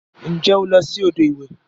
Nje o lo si odo iwe?